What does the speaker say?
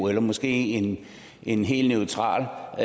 eller måske en en helt neutral